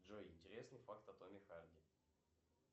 джой интересный факт о томе харди